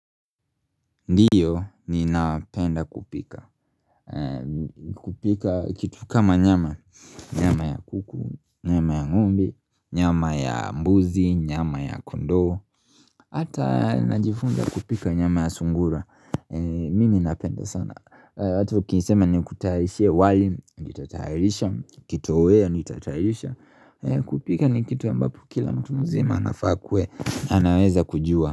Ndiyo ni mnapenda kupika kupika kitu kama nyama Nyama ya kuku, nyama ya ng'ombe, nyama ya mbuzi, nyama ya kondoo Hata najifunza kupika nyama ya sungura Mimi napenda sana watu wakisema ni kutayarishie wali, nitatayarisha kitoweo nitatayarisha kupika ni kitu ambapo kila mtu mzima anafaa kuwe anaweza kujua.